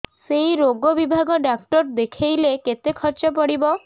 ସେଇ ରୋଗ ବିଭାଗ ଡ଼ାକ୍ତର ଦେଖେଇଲେ କେତେ ଖର୍ଚ୍ଚ ପଡିବ